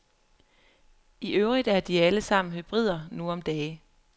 I øvrigt er de alle sammen hybrider nu om dage.